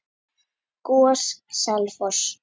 GOS- Selfoss